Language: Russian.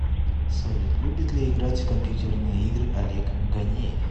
салют любит ли играть в компьютерные игры олег ганеев